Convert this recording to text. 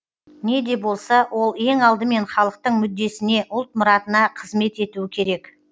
не де болса ол ең алдымен халықтың мүддесіне ұлт мұратына қызмет етуі керек